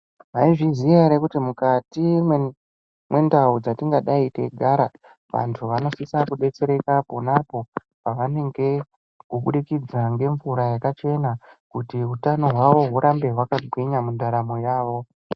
Maizviziya ere kuti mukati mwendau dzatingadai teigara vantu vanosisa kubetsereka popapo pavanenge kubudikidza ngemvura yakachena kuti utano hwavo hwurambe hwakagwinya mundaramo yavo.